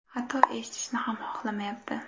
Hatto eshitishni ham xohlamayapti.